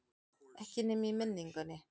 Ekki nema í minningunni.